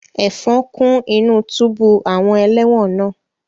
Ẹ̀fọn kún inú túbú àwọn ẹlẹ́wọ̀n náà